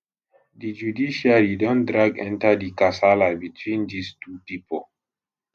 di judiciary don drag enta di kasala between dis two pipo